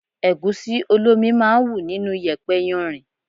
Ẹ̀gúsí olómi máa ń wù nínú yèpẹ̀ yarìn.